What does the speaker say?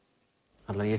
ég